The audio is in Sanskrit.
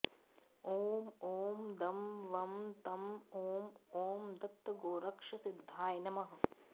ॐ ॐ दं वं तं ॐ ॐ ॐ दत्तगोरक्षसिद्धाय नमः